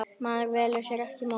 Maður velur sér ekki móður.